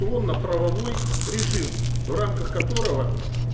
то на правовой режим в рамках которого